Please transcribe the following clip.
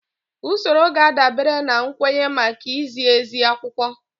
Usoro ga-adabere na nkwenye maka izi ezi akwụkwọ